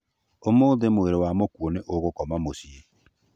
Ũmũthĩ mwĩrĩ wa mũkuũ nĩ ũgũkoma mũciĩ